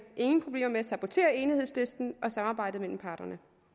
ingen problemer med at sabotere enighedslisten og samarbejdet mellem parterne